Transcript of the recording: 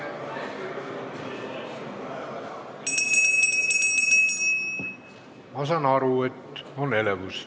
Ma saan aru, et on elevus.